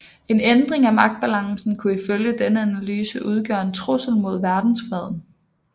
En ændring af magtbalancen kunne ifølge denne analyse udgøre en trussel mod verdensfreden